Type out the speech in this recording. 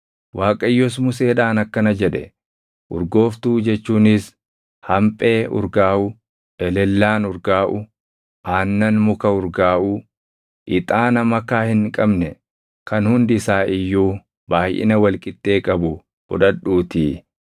Waaqayyos Museedhaan akkana jedhe; “Urgooftuu jechuunis hamphee urgaaʼu, elellaan urgaaʼu, aannan muka urgaaʼuu, ixaana makaa hin qabne kan hundi isaa iyyuu baayʼina wal qixxee qabu fudhadhuutii,